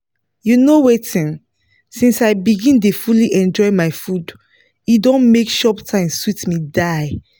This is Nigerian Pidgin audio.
you know wetin? since i begin dey fully enjoy my food e don make chop time sweet me die